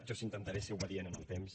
jo sí que intentaré ser obedient amb el temps